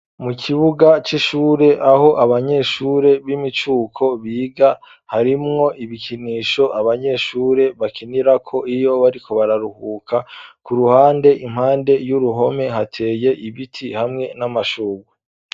Mu kibuga c'ishure, aho abanyeshure, b'imicuko biga, harimwo ibikinisho, abanyeshure bakinirako, iyo bariko bararuhuka; ku ruhande, impande y'uruhome, hateye ibiti, hamwe n'amashurwe.